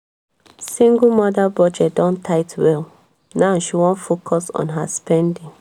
single mother budget don tight well now she won focus on her spending.